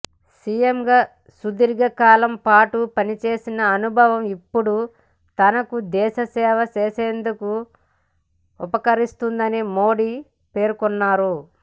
సీఎంగా సుదీర్ఘకాలం పాటు పనిచేసిన అనుభవం ఇప్పుడు తనకు దేశ సేవ చేసేందుకు ఉపకరిస్తోందని మోదీ పేర్కొన్నారు